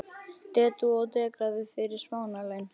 Dedúað og dekrað við fyrir smánarlaun.